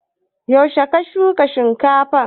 Yaushe ka shuka shinkafan?